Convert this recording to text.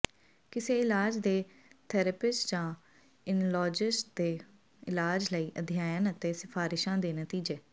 ਕਿਸੇ ਇਲਾਜ ਦੇ ਥੈਰੇਪਿਸਟ ਜਾਂ ਓਨਕਲੋਜਿਸਟ ਤੋਂ ਇਲਾਜ ਲਈ ਅਧਿਐਨ ਅਤੇ ਸਿਫ਼ਾਰਿਸ਼ਾਂ ਦੇ ਨਤੀਜੇ